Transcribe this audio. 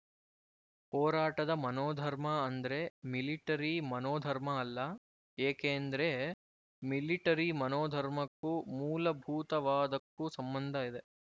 ಹೋರಾಟದ ಮನೋಧರ್ಮ ಅಂದ್ರೆ ಮಿಲಿಟರಿ ಮನೋಧರ್ಮ ಅಲ್ಲ ಏಕೇಂದ್ರೆ ಮಿಲಿಟರಿ ಮನೋಧರ್ಮಕ್ಕೂ ಮೂಲಭೂತವಾದಕ್ಕೂ ಸಂಬಂಧ ಇದೆ